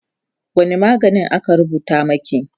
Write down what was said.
wani magani aka rubuta maki?